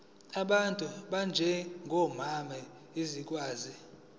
ngabantu abanjengomama zizokwazi